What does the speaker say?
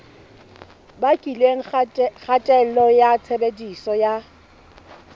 bakileng kgatello ya tshebediso ya